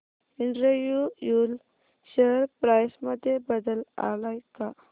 Andrew Yule share price मध्ये बदल आलाय का